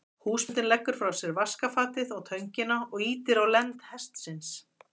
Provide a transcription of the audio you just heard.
Húsbóndinn leggur frá sér vaskafatið og töngina og ýtir á lend hestsins.